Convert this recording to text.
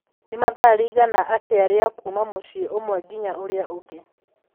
Nĩ mathaa rĩigana atĩa rĩa kuuma mũciĩ ũmwe nginya ũrĩa ũngĩ